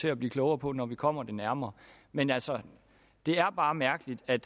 til at blive klogere på når vi kommer det nærmere men altså det er bare mærkeligt at